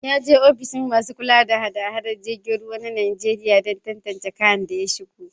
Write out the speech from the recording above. Ya je ofishin masu kula da hada-hadar jiragen ruwa ta Nijeriya dan tantance kayan da ya shigo